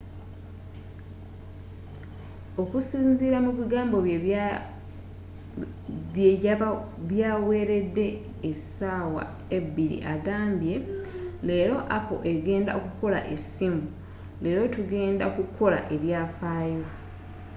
okusinzira mu bigambo bye byaweredde essawa ebiri agambye”leera apple egenda okukola e ssimu, leero tugenda ku kola ebyafayo.